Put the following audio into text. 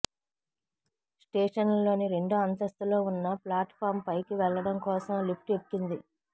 స్టేషన్లోని రెండో అంతస్తులో ఉన్న ప్లాట్ ఫామ్ పైకి వెళ్లడం కోసం లిఫ్ట్ ఎక్కింది